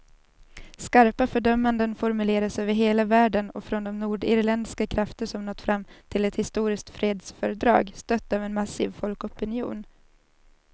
Skarpa fördömanden formuleras över hela världen och från de nordirländska krafter som nått fram till ett historiskt fredsfördrag, stött av en massiv folkopinion.